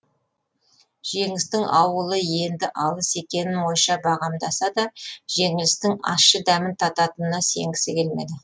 жеңістің ауылы енді алыс екенін ойша бағамдаса да жеңілістің ащы дәмін тататынына сенгісі келмеді